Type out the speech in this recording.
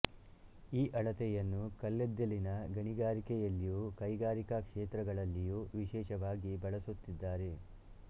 ಈ ಅಳತೆಯನ್ನು ಕಲ್ಲಿದ್ದಿಲಿನ ಗಣಿಗಳಲ್ಲಿಯೂ ಕೈಗಾರಿಕಾ ಕ್ಷೇತ್ರಗಳಲ್ಲಿಯೂ ವಿಶೇಷವಾಗಿ ಬಳಸುತ್ತಿದ್ದಾರೆ